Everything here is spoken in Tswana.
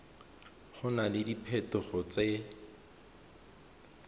go na le diphetogo tse